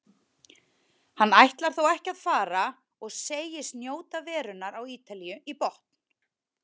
Hann ætlar þó ekki að fara og segist njóta verunnar á Ítalíu í botn.